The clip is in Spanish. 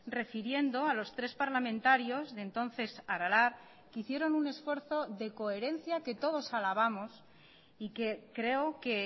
refiriendo a los tres parlamentarios de entonces aralar que hicieron un esfuerzo de coherencia que todos alabamos y que creo que